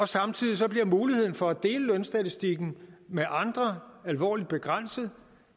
samtidig bliver muligheden for at dele lønstatistikken med andre alvorligt begrænset